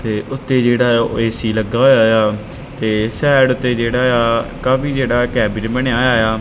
ਤੇ ਉੱਤੇ ਜਿਹੜਾ ਹੈ ਉਹ ਏਸੀ ਲੱਗਾ ਹੋਇਆ ਆ ਤੇ ਸਾਈਡ ਤੇ ਜਿਹੜਾ ਆ ਕਾਫੀ ਜਿਹੜਾ ਕੈਬਿਨ ਬਣਿਆ ਹੋਇਆ ਆ।